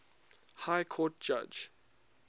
high court judge